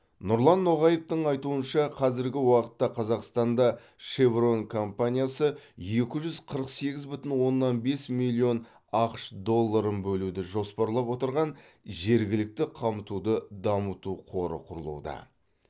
нұрлан ноғаевтың айтуынша қазіргі уақытта қазақстанда чеврон комапниясы екі жүз қырық сегіз бүтін оннан бес миллион ақш долларын бөлуді жоспарлап отырған жергілікті қамтуды дамыту қоры құрылуда